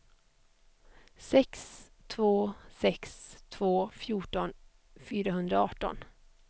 sex två sex två fjorton fyrahundraarton